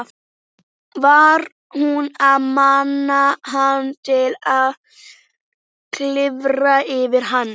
Hann fór alveg úr sambandi þegar hann sá hana aftur.